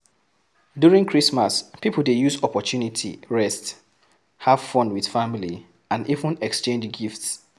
During Christmas pipo dey use opportunity rest, have fun with family and even exchange gifts